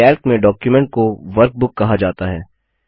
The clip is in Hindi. कैल्क में डॉक्युमेंट को वर्कबुक कहा जाता है